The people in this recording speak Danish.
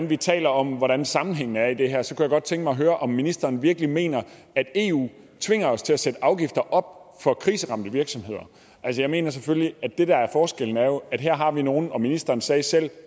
vi taler om hvordan sammenhængen er i det her så kunne jeg godt tænke mig at høre om ministeren virkelig mener at eu tvinger os til at sætte afgifter op for kriseramte virksomheder jeg mener selvfølgelig at det der er forskellen er at her har vi nogle virksomheder og ministeren sagde selv at